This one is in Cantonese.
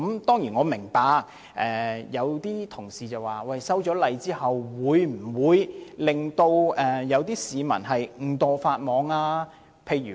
當然，我明白有些同事關注到修改法例後會否令市民誤墮法網。